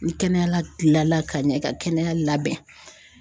Ni y 'a kɛnɛya tilala ka ɲɛ i ka kɛnɛya labɛn